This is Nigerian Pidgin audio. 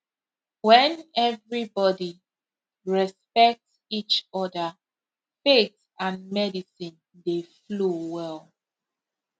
when everybody respect each other faith and medicine dey flow well